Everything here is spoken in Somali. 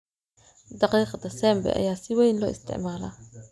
Daqiiqda Sembe ayaa si weyn loo isticmaalaa.